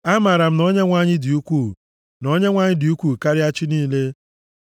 Amaara m na Onyenwe anyị dị ukwuu, na Onyenwe anyị dị ukwuu karịa chi niile.